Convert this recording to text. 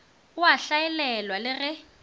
o a hlaelelwa le ge